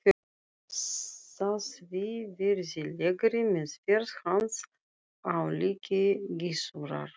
Þá svívirðilegri meðferð hans á líki Gizurar.